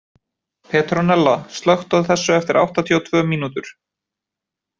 Petronella, slökktu á þessu eftir áttatíu og tvö mínútur.